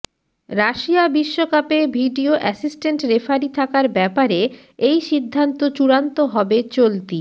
Russia বিশ্বকাপে video assistant referee থাকার ব্যাপারে এই সিদ্ধান্ত চূড়ান্ত হবে চলতি